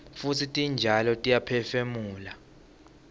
futsi titjalo tiyaphefumula